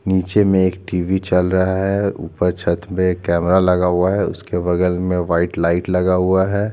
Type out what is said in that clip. नीचे में एक टीवी चल रहा है ऊपर में एक कैमरा लगा हुआ है उसके बगल में एक वाइट लाइट लगा हुआ है।